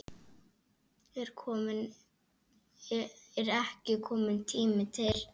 Er ekki kominn tími til?